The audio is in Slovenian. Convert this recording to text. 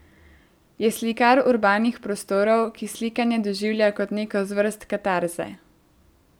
Je slikar urbanih prostorov, ki slikanje doživlja kot neko zvrst katarze.